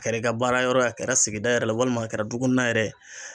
A kɛra i baarayɔrɔ ye a kɛra sigida yɛrɛ la walima a kɛra dukɔnɔna yɛrɛ ye